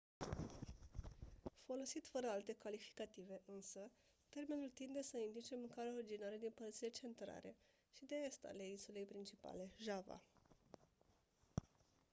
folosit fără alte calificative însă termenul tinde să indice mâncarea originară din părțile centrale și de est ale insulei principale java